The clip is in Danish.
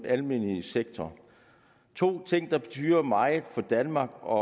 almene sektor to ting der betyder meget for danmark og